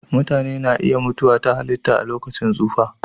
Mutane na iya mutuwa ta halitta a lokacin tsufa.